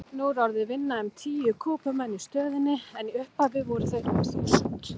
Nú orðið vinna um tíu Kúbumenn í stöðinni en í upphafi voru þeir um þúsund.